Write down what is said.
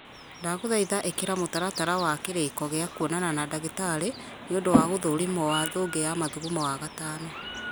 ndagũthaitha ĩkĩra mũtaratara wa kĩrĩko gĩa kwonana na ndagĩtarĩ nĩũndũ wa gũthũrimwo wa thũngĩ ya mathugumo wagatano